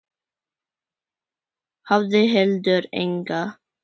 Hafði heldur enga.